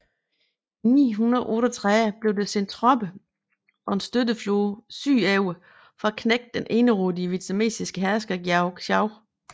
I 938 blev der sendt tropper og en støtteflåde sydover for at knække den enerådige vietnamesiske hersker Giao Châu